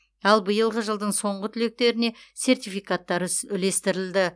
ал биылғы жылдың соңғы түлектеріне сертификаттар үс үлестірілді